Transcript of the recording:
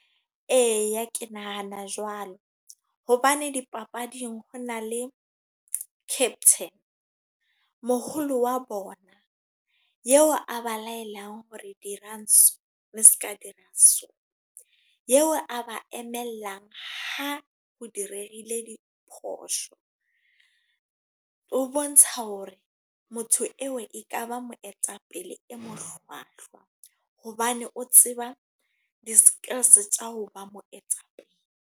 Eya ke nahana jwalo. Hobane dipapading, ho na le captain. Moholo wa bona, eo a ba laelang hore dirang so ne se ka dira so eo a ba emelang. Ha ho direhile di phosho, o bontsha hore motho eo e ka ba moetapele e mo hlwahlwa hobane o tseba di-skills tsa ho ba moetapele.